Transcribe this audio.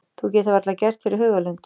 Þú getur varla gert þér í hugarlund.